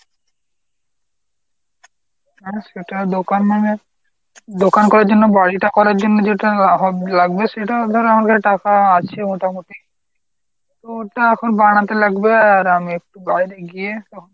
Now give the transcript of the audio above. হ্যাঁ সেটা দোকান মানে দোকান করার জন্য বাড়িটা করার জন্য যেটা লাগবে সেটা ধর আমার কাছে টাকা আছে মোটামুটি। ওটা এখন বানাতে লাগবে আর আমি একটু বাইরে গিয়ে